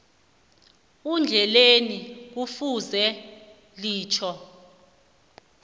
ihlelweli kufuze litjho